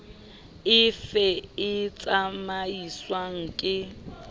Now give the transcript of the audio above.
e fe e tsamaiswang ke